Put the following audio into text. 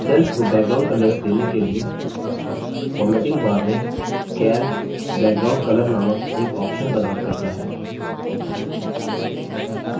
cells को background colors देने के लिए formatting बार में calc background color नामक एक option प्रदान करता है